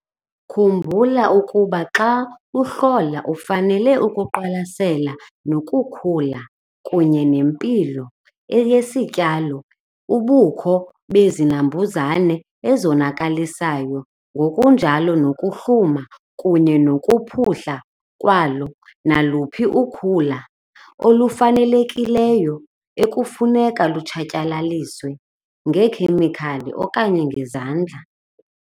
Khumbula ukuba xa uhlola ufanele ukuqwalasela nokukhula kunye nempilo yesityalo, ubukho bezinambuzane ezonakalisayo ngokunjalo nokuhluma kunye nokuphuhla kwalo naluphi ukhula olungafunekiyo ekufuneka lutshatyalaliswe ngeekhemikhali okanye ngezandla.